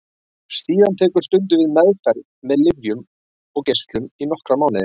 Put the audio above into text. Síðan tekur stundum við meðferð með lyfjum og geislum í nokkra mánuði.